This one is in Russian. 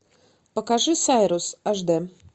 покажи сайрус аш д